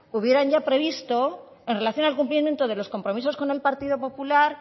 hubieran ya previsto en relación al cumplimiento de los compromisos con el partido popular